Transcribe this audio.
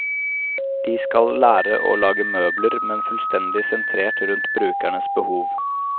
De skal lære å lage møbler, men fullstendig sentrert rundt brukernes behov.